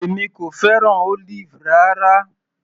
Èmi kò fẹ́ràn Olive rárá.